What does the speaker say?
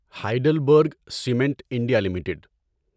Heidelberg cement India limited